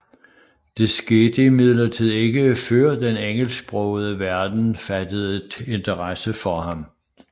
Det skete imidlertid ikke før den engelsksprogede verden fattede interesse for ham